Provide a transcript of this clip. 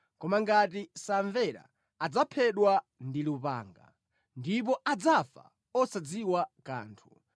Koma ngati samvera, adzaphedwa ndi lupanga ndipo adzafa osadziwa kanthu.